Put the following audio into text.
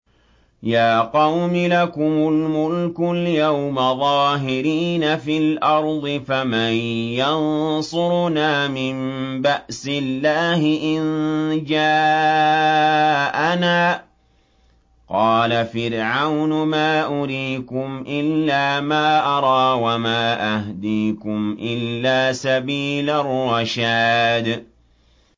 يَا قَوْمِ لَكُمُ الْمُلْكُ الْيَوْمَ ظَاهِرِينَ فِي الْأَرْضِ فَمَن يَنصُرُنَا مِن بَأْسِ اللَّهِ إِن جَاءَنَا ۚ قَالَ فِرْعَوْنُ مَا أُرِيكُمْ إِلَّا مَا أَرَىٰ وَمَا أَهْدِيكُمْ إِلَّا سَبِيلَ الرَّشَادِ